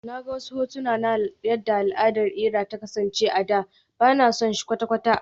Na ga wasu hotuna na yadda al'adar iria ta kasance a da, ba na son shi kwata-kwata